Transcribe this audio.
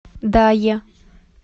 дае